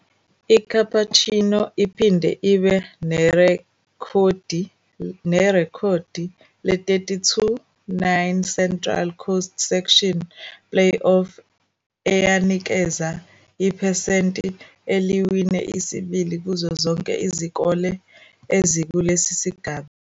ICapuchino iphinde ibe nerekhodi le-32-9 Central Coast Section Playoff, eyinikeza iphesenti eliwina isibili kuzo zonke izikole ezikulesi sigaba.